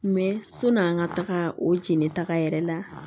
sɔn'an ka taga o jeninta yɛrɛ la